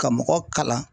Ka mɔgɔ kalan